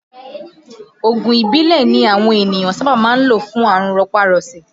Oògùn ìbílẹ̀ ni àwọn ènìyàn sábà máa ń lò fún àrùn rọpá-rọṣẹ̀